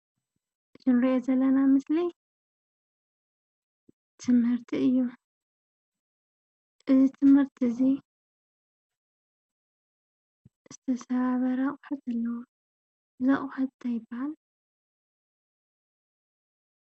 እቲ ንሪኦ ዘለና ምስሊ ትምህርቲ እዩ፡፡ እዚ ቤት ትምህርቲ እዚ ዝተሰባበረ ኣቑሑት ኣለዎ፡፡ እንዳ ኣቑሑት እንታይ ይበሃል?